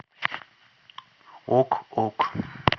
ок ок